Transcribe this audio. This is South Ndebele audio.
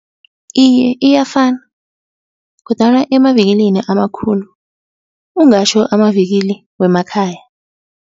Iye iyafana, kodwana emavikilini amakhulu ungatjho amavikili wemakhaya.